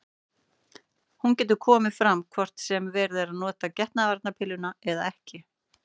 Hún getur komið fram hvort sem verið er að nota getnaðarvarnarpilluna eða ekki.